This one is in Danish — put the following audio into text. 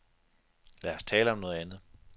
Lad os tale om noget andet.